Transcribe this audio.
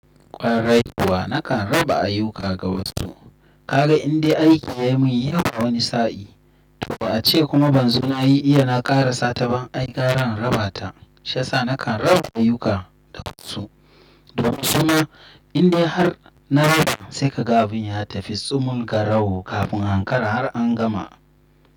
Kwarai kuwa nakan raba ayuka ga wasu. Kaga indai aiki ya mun yi ya wa wani sa'in. To ace kuma ban zo nayi iya na kara sata ba. Ai gara in raba ta shiyasa nakan raba ayuka da wasu. Domin suma indai har na raba sai ka ga abun ya tafi tsumun ga rawo kafin ankara har an gama.